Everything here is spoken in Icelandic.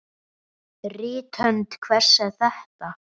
Rithönd hvers er þetta?